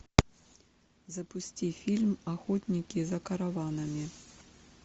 запусти фильм охотники за караванами